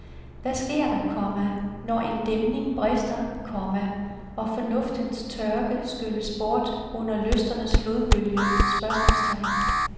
Hvad sker der, komma når en dæmning brister, komma og fornuftens tørke skylles bort under lysternes flodbølge? spørgsmålstegn